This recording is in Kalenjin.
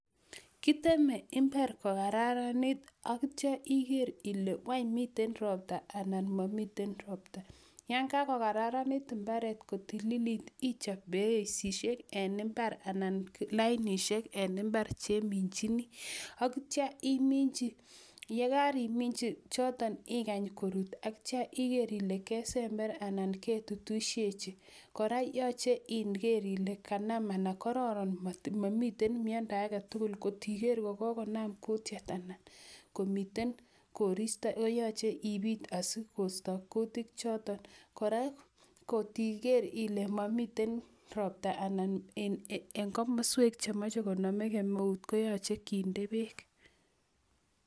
kiteme imbaar kogararaniit ak ityo igeer ile ile wany miiten ropta anan momiten ropta, yaan kagogararaniit imbareet kotililit ichoop beresiit en imbaar anan lainisheek en imbaar chemimchini, ak iityo iiminchi yegariminchi choton igany kityo koruut ak igeer ile kesembeer anaan ketutisyechi , kora yooche igeer ile kororon momiteen myondo agetugul kotigeer ile kogonamm kutyeet anan koristo koyoche ibiit asigoisto kutiik choton, koraa kotigeer ile momiten ropta anan en komosweek chemoche konome kemeuu koyoche kinde beek.